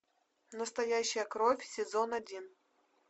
настоящая кровь сезон один